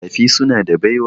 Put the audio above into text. Makafi suna da baiwa.